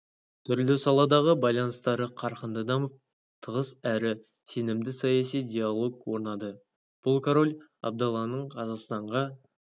түрлі саладағы байланыстары қарқынды дамып тығыз әрі сенімді саяси диалог орнады бұл король абдалланың қазақстанға